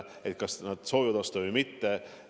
On küsitud, kas soovitakse osta või mitte.